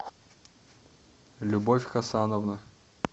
любовь хасановна